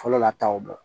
Fɔlɔ la taw